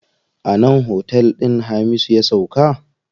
A nan otel din Hamisu ya sauka.